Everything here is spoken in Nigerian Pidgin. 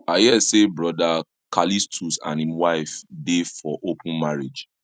i hear say brother callistus and him wife dey for open marriage